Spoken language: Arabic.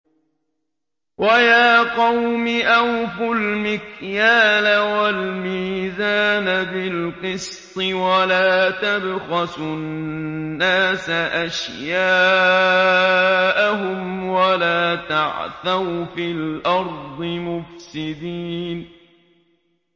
وَيَا قَوْمِ أَوْفُوا الْمِكْيَالَ وَالْمِيزَانَ بِالْقِسْطِ ۖ وَلَا تَبْخَسُوا النَّاسَ أَشْيَاءَهُمْ وَلَا تَعْثَوْا فِي الْأَرْضِ مُفْسِدِينَ